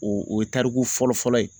O o ye tariku fɔlɔ fɔlɔ ye